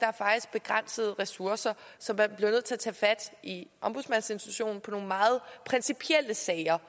begrænsede ressourcer så man blev nødt til at tage fat i ombudsmandsinstitutionen i nogle meget principielle sager